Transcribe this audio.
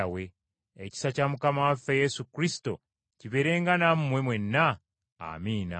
Ekisa kya Mukama waffe Yesu Kristo kibeerenga nammwe mwenna. Amiina.